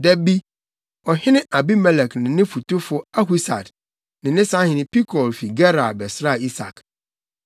Da bi, ɔhene Abimelek ne ne fotufo Ahusad ne ne sahene Pikol fi Gerar bɛsraa Isak.